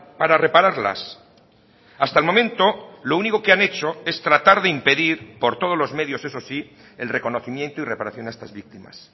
para repararlas hasta el momento lo único que han hecho es tratar de impedir por todos los medios eso sí el reconocimiento y reparación a estas víctimas